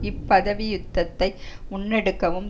இப்பதவி யுத்தத்தை முன்னெடுக்கவும்